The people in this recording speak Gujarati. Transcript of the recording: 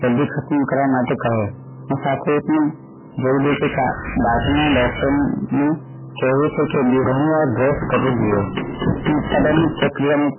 જલ્દી ખતમ કરવા માટે કહે તથા kp દાંત ના doctor નું કહેવું છે કે બે વાર brush કરી લઈએ ઉત્પાદન ની ચક્રાઈટ